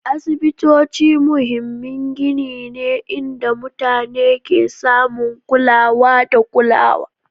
Asibitoci muhimmin gini ne inda mutane ke samun kulawa da kulawa